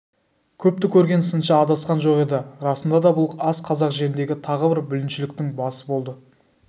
көпті көрген сыншы адасқан жоқ еді расында да бұл ас қазақ жеріндегі тағы бір бүліншіліктің басы болды